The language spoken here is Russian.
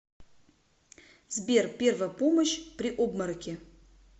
сбер первая помощь при обмороке